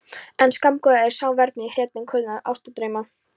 En skammgóður er sá vermir í hretum kulnandi ástardrauma.